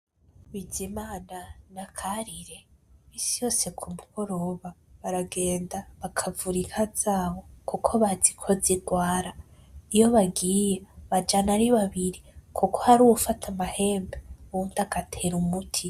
Bizimana na Karire isi yose kumugoroba baragenda bakavura inka zabo kuko baziko zirwara iyo bagiye bajyana ari babibiri kuko hari ufata amahembe undi agatera umuti.